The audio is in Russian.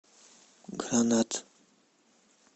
гранат